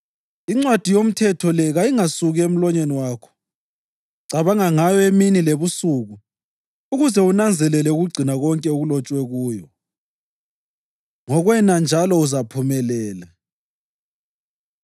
INcwadi yoMthetho le kayingasuki emlonyeni wakho, cabanga ngayo emini lebusuku ukuze unanzelele ukugcina konke okulotshwe kuyo. Ngokwena njalo uzaphumelela.